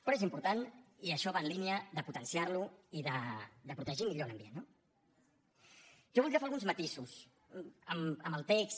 però és important i això va en línia de potenciarlo i de protegir millor l’ambient no jo voldria fer alguns matisos al text